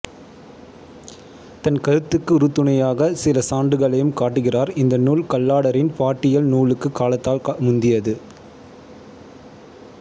தன் கருத்துக்கு உறுதுணையாகச் சில சான்றுகளையும் காட்டுகிறார் இந்த நூல் கல்லாடரின் பாட்டியல் நூலுக்குக் காலத்தால் முந்தியது